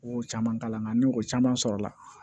O caman kalan nka ni o caman sɔrɔla